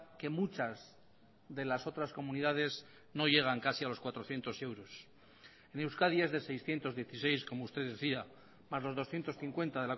que muchas de las otras comunidades no llegan casi a los cuatrocientos euros en euskadi es de seiscientos dieciséis como usted decía más los doscientos cincuenta